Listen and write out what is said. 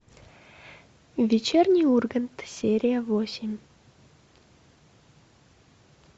вечерний ургант серия восемь